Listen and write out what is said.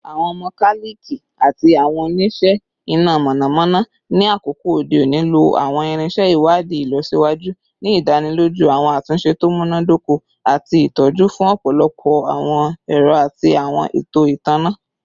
Awọn mokaliki ati awọn onise ina mọnamọna ni akoko ode oni lo awọn irinṣẹ iwadii ilọsiwaju, ni idaniloju awọn atunṣe to munadoko ati itọju fun ọpọlọpọ awọn ẹrọ ati awọn eto itanna